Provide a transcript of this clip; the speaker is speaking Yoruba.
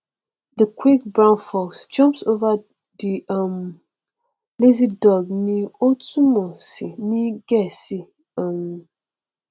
ó sì rìnnà ko ibi tí ọlọrun dá lọlá ṣùgbọn tí àwọn èdá ibẹ kò bìkítà rárá